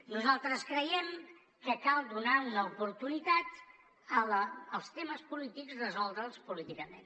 nosaltres creiem que cal donar una oportunitat els temes polítics resoldre’ls políticament